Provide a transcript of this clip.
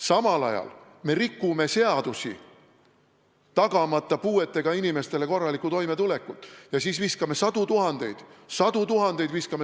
Samal ajal me rikume seadusi, tagamata puuetega inimestele korralikku toimetulekut, ja siis viskame sadu tuhandeid – sadu tuhandeid!